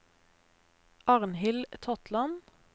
Arnhild Totland